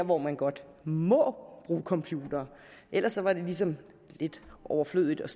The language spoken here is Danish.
hvor man godt må bruge computere ellers var det ligesom lidt overflødigt at